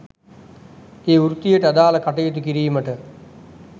ඒ වෘත්තියට අදාළ කටයුතු කිරීමට